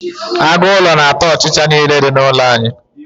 aguulo na ata ochicha n'ile di n'ulo anyi